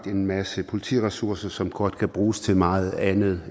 en masse politiressourcer som godt kan bruges til meget andet